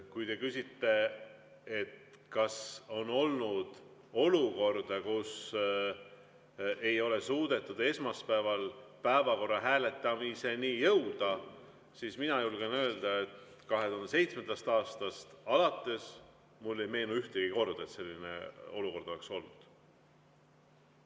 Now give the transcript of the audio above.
Kui te küsite, kas on olnud olukorda, kus ei ole suudetud esmaspäeval päevakorra hääletamiseni jõuda, siis mina julgen öelda, et 2007. aastast alates mulle ei meenu ühtegi korda, et selline olukord oleks olnud.